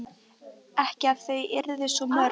Ekki að þau yrðu svo mörg.